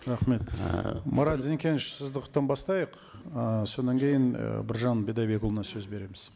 рахмет марат зекенович бастайық ы содан кейін і біржан бидайбекұлына сөз береміз